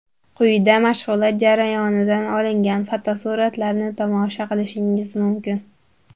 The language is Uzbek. Quyida mashg‘ulot jarayonidan olingan fotosuratlarni tomosha qilishingiz mumkin.